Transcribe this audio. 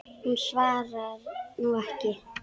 Hún svarar nú ekki.